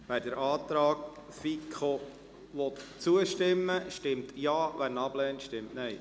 Wer dem Antrag 1 der FiKo zustimmen will, stimmt Ja, wer diesen ablehnt, stimmt Nein.